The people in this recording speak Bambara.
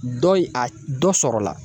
Dɔ i a dɔ sɔrɔla.